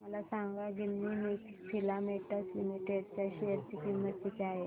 मला सांगा Ginni filaments limited च्या शेअर ची किंमत किती आहे